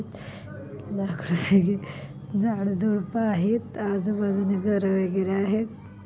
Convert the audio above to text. लाकड आहे झडझुडपं आहेत आजूबाजूनी घरं वेगैरे आहेत.